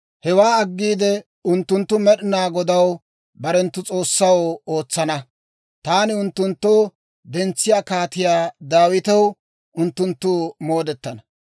Hewaa aggiide unttunttu Med'inaa Godaw, barenttu S'oossaw, ootsana; taani unttunttoo dentsiyaa Kaatiyaa Daawitew unttunttu moodetana.